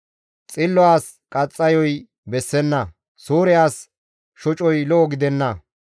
Xillo as qaxxayo bessenna; suure as shocoy lo7o gidenna.